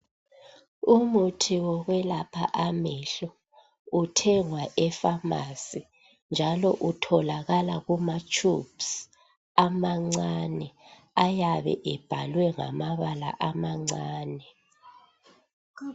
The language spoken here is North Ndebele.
Umuthi wokwelapha amehlo uthengwa ephamarcy njalo utholakala kuma tubes amancane ayabe ebhaliwe ngamabala amancane